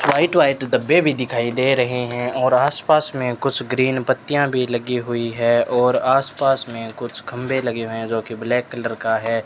White white डब्बे भी दिखाई दे रहे हैं और आस पास में कुछ ग्रीन पत्तियां भी लगी हुई है और आस पास में कुछ खंबे लगे हुए हैं जो की ब्लैक कलर का है।